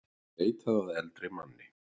Leitað að eldri manni